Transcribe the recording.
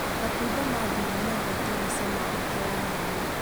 Matunda ma ndimũ mendetwo nĩ cama wake wa mwanya